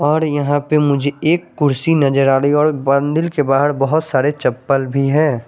और यहा पे मुझे एक कुडसी नज़र आ रही है और मंदिर के बाहर बोहोत सारे चप्पल भी है ।